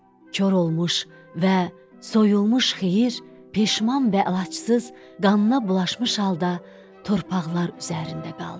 Kor olmuş və soyulmuş Xeyir peşiman və əlacsız qanına bulaşmış halda torpaqlar üzərində qaldı.